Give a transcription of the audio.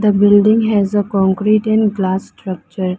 The building has a concrete and glass structure.